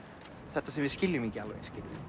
þetta sem við skiljum ekki alveg